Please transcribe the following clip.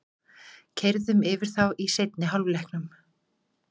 Keyrðum yfir þá í seinni hálfleiknum